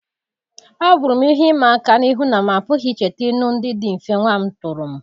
Ọ bụrụ m ihe ịma aka n'ihu na m apụghị icheta ilu ndị dị mfe nwa m tụrụ m.